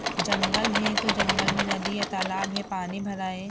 जंगल है तो जंगल मे नदी है तालाब है पानी भरा है।